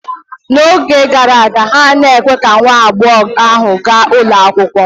N'oge gara aga, ha anaghị ekwe ka nwa agbọghọ ahụ gaa ụlọ akwụkwọ